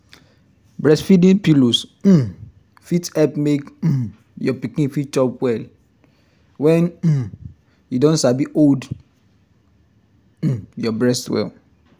breastfeeding pillows um fit help make um your pikin fit chop well when um e don sabi hold um your breast well